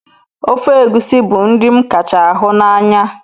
Ofe egusi bu nri m kacha hi n'anya